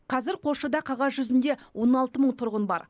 қазір қосшыда қағаз жүзінде он алты мың тұрғыны бар